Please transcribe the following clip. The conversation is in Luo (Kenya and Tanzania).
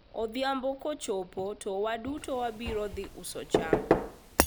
odhiambo kochopo to waduto wabiro dhi uso cham